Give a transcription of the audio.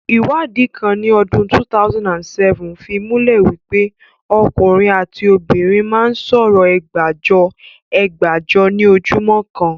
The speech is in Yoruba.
Iwadi kan ni odun 2007 fi mule wipe okunrin ati obinrin maa n so oro Ẹgbajọ, ẹgbàájọ ni ojumo kan.